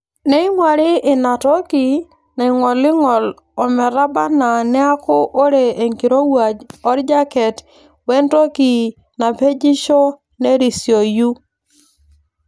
Neing'wari ina toki naing'oling'ol emetabaaanaa neeku ore enkirowuaj orjaket wentoki napejisho nerisioyu.